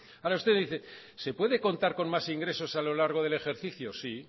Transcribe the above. ahora usted dice se puede contar con más ingresos a lo largo del ejercicio sí